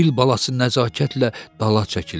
Fil balası nəzakətlə dala çəkildi.